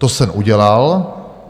To jsem udělal.